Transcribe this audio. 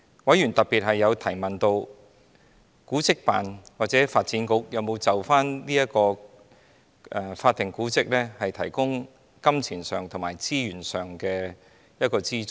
委員特別提問，古物古蹟辦事處或發展局有否向有關法定古蹟提供金錢和資源上的資助。